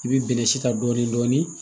I bɛ bɛnɛ si ta dɔɔnin dɔɔnin